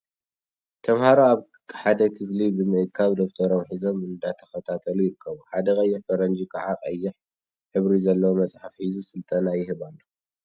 ተምሃሮ ኣብ ሓደ ክፍሊ ብምእካብ ደፍተሮም ሒዞም እንዳተከታተሉ ይርከቡ። ሓደ ቀይሕ ፈረንጂ ከዓ ቀይሕ ሕብሪዘለዎ መፅሓፍ ሒዙ ስልጠና ይህብ ኣሎ።